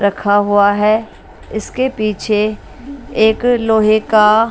रखा हुआ है इसके पीछे एक लोहे का--